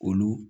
Olu